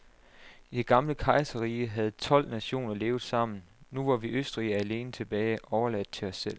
I det gamle kejserrige havde tolv nationer levet sammen, nu var vi østrigere alene tilbage, overladt til os selv.